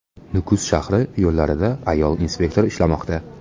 Nukus shahri yo‘llarida ayol inspektor ishlamoqda.